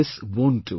This won't do